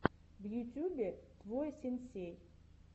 в ютюбе твой сенсей